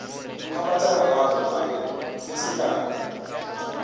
phaphatha gararo a re lesekana